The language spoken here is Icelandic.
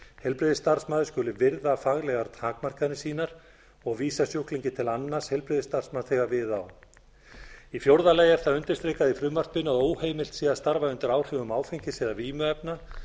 heilbrigðisstarfsmaður skuli virða faglegar takmarkanir sínar og vísa sjúklingi til annars heilbrigðisstarfsmanns þegar við á í fjórða lagi er það undirstrikað í frumvarpinu að óheimilt sé að starfa undir áhrifum áfengis eða vímuefna